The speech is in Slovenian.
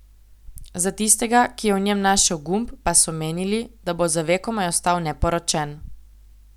Za tistega, ki je v njem našel gumb, pa so menili, da bo za vekomaj ostal neporočen.